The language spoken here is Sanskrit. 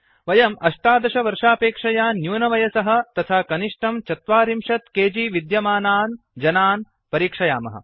वयं १८ वर्षापेक्षया न्यूनवयसः तथा कनिष्ठं ४० केजि विद्यमानान् जनान् परिक्षयामः